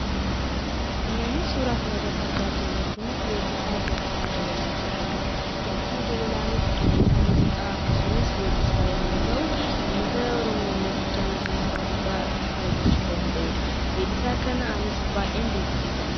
Namni suuraa kanarratti argaa jirru kun weellisaa Dinqisaa Dabalaa jedhama. Dinqisaa Dabalaanis qindeessaa muuziqaa akkasumas weellisaa yommuu ta'u, ummata Oromoo biratti jaalatamummaa guddaa artistii argachuu danda'ee dha. Weellisaa kana anis baay'een dinqisiifadha.